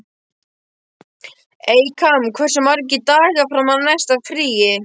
Eykam, hversu margir dagar fram að næsta fríi?